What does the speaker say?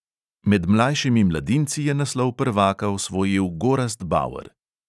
Med mlajšimi mladinci je naslov prvaka osvojil gorazd bauer.